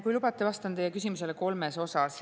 Kui lubate, vastan teie küsimusele kolmes osas.